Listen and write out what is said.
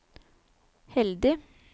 heldig